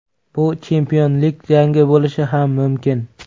Bu chempionlik jangi bo‘lishi ham mumkin.